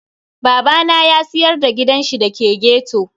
Babana ya siyar da gidanshi da ke ghetto.